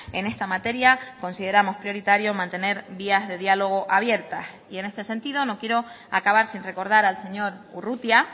en esta materia consideramos prioritario mantener vías de diálogo abiertas y en este sentido no quiero acabar sin recordar al señor urrutia